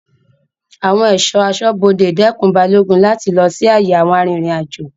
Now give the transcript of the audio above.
Awon eso asobode dekun Balogun lati lo si aye awon aririnajo